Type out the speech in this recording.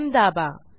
M दाबा